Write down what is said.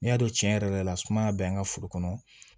N'i y'a don cɛn yɛrɛ yɛrɛ la sumaya be an ka foro kɔnɔ